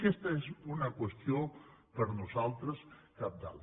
aquesta és una qüestió per nosaltres cabdal